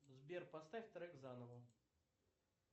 сбер поставь трек заново